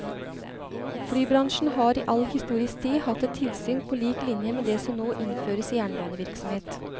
Flybransjen har i all historisk tid hatt et tilsyn på lik linje med det som nå innføres i jernbanevirksomhet.